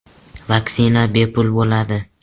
“Vaksina bepul bo‘ladi.